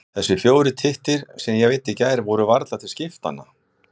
Þessir fjórir tittir, sem ég veiddi í gær, voru varla til skiptanna.